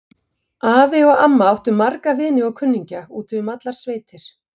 Afi og amma áttu marga vini og kunningja úti um allar sveitir.